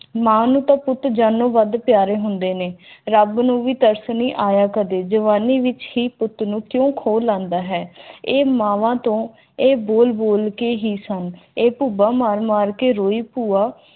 ਮਾਂ ਨੂੰ ਪੁੱਤ ਜਾਨੋਂ ਵੱਧ ਪਿਆਰੇ ਹੁੰਦੇ ਨੇ ਰੱਬ ਨੂੰ ਵੀ ਤਰਸ ਆਇਆ ਕਦੇ ਜਵਾਨੀ ਵਿਚ ਹੀ ਉੱਤਰ ਹੁੰਦਾ ਹੈ ਇਹ ਬੋਲ ਬੋਲ ਕੇ ਹੀ ਸਨ ਉਹ ਮਾਰ ਮਾਰ ਕੇ ਰੋਏ ਭੂਆ